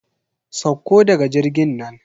Sauko daga jirgin nan.